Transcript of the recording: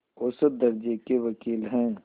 औसत दर्ज़े के वक़ील हैं